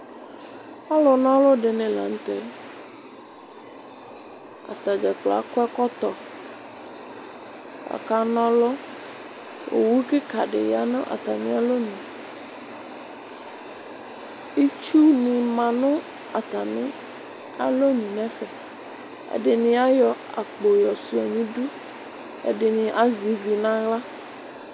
Alʋ nɔlʋ dini laŋtɛ Ataddzakplo akɔ ɛkɔtɔ, aka n'ɔlu Owu kika di ya nu atamialɔnu Itsuwʋ manʋ atamialɔnu nɛfɛ Ɛdini ayɔ akpɔ yɔ shua nidu, adini azɛ ivi naɣla